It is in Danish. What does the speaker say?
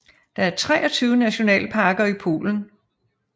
Der er 23 nationalparker i Polen